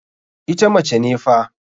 Ita mace ne fa.